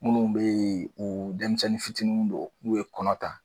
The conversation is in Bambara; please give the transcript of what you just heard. Munnu be yen u denmisɛnnin fitininw don n'u ye kɔnɔta